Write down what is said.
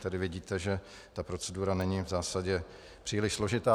Tedy vidíte, že ta procedura není v zásadě příliš složitá.